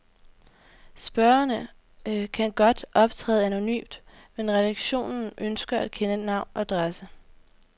Spørgere kan godt optræde anonymt, men redaktionen ønsker at kende navn og adresse.